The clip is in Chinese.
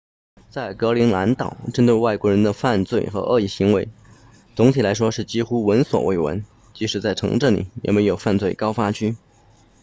在格陵兰岛针对外国人的犯罪和恶意行为总体来说几乎闻所未闻即使在城镇里也没有犯罪高发区